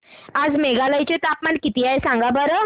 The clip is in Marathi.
आज मेघालय चे तापमान किती आहे सांगा बरं